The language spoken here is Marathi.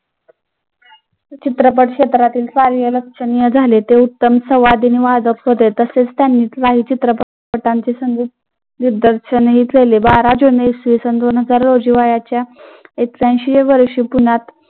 चित्रपट क्षेत्रातील कार्यरत झाले. ते उत्तम वादक होते, तसेच संगीत दिग्दर्शनही केले. बारा जून इसविसन दोन हजार रोजी वयाच्या एक्क्यांशिव्या वर्षी पुण्यात